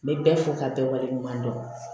N bɛ bɛɛ fo ka bɛɛ wale ɲuman dɔn